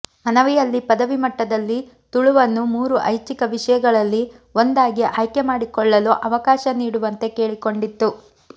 ಮನವಿಯಲ್ಲಿ ಪದವಿ ಮಟ್ಟದಲ್ಲಿ ತುಳುವನ್ನು ಮೂರು ಐಚ್ಚಿಕ ವಿಷಯಗಳಲ್ಲಿ ಒಂದಾಗಿ ಆಯ್ಕೆ ಮಾಡಿಕೊಳ್ಳಲು ಅವಕಾಶ ನೀಡುವಂತೆ ಕೇಳಿಕೊಂಡಿತ್ತು